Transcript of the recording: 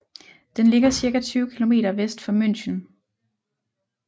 Den ligger cirka 20 kilometer vest for München